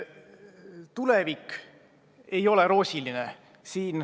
Tulevik ei ole roosiline.